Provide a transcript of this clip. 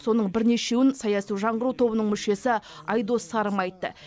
соның бірнешеуін саяси жаңғыру тобының мүшесі айдос сарым айтты